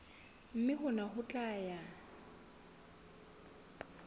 mme hona ho tla ya